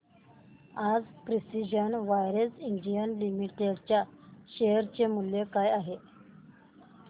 आज precision wires India limited च्या share चे मूल्य काय आहे